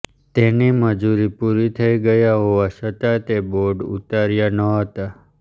જેની મંજૂરી પૂરી થઇ ગઇ હોવા છતાં તે બોર્ડ ઉતાર્યા ન હતા